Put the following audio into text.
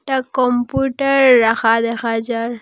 একটা কম্পিউটার রাখা দেখা যার।